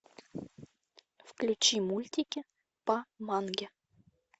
включи мультики по манге